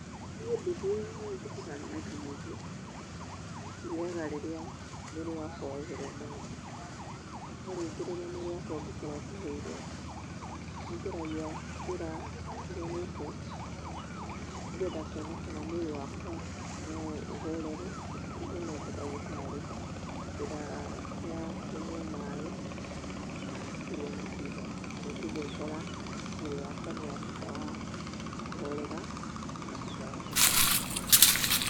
Niĩ ndithiaga thibitarĩ maita maingĩ. Thiaga rĩrĩa mwĩrĩ wakwa wehĩrwo mũno. No rĩngĩ rirĩa mwĩrĩ wakwa ũngĩkorwo ũteehĩirwo, nĩ ngeragia njĩra itiganĩte nĩgetha kũona kana mwĩrĩ wakwa no ũhorere, itonete ndagĩtarĩ. Njĩra cia kũnyua maaĩ, na kũrĩa matunda. Na rĩngĩ ngeekora mwĩri wakwa nĩ watuĩka wa kũhorera, ngatuĩka wa kũhona.